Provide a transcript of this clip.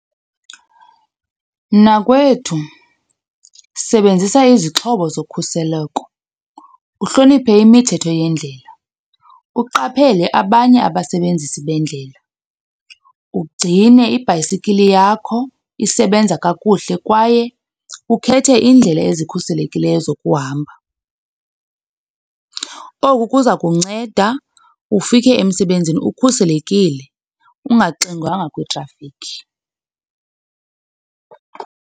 Mnakwethu sebenzisa izixhobo zokhuseleko, uhloniphe imithetho yendlela, uqaphele abanye abasebenzisi bendlela, ugcine ibhayisikili yakho isebenza kakuhle kwaye ukhethe iindlela ezikhuselekileyo zokuhamba. Oku kuza kunceda ufike emsebenzini ukhuselekile ungaxingwanga kwitrafikhi.